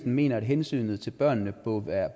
mener at hensynet til børnene